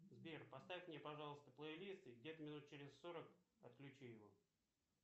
сбер поставь мне пожалуйста плейлист и где то минут через сорок отключи его